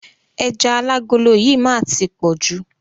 Ẹja alágolo yìí má á ti pọ̀jù.